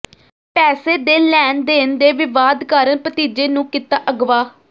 ਪੈਸੇ ਦੇ ਲੈਣ ਦੇਣ ਦੇ ਵਿਵਾਦ ਕਾਰਨ ਭਤੀਜੇ ਨੂੰ ਕੀਤਾ ਅਗਵਾ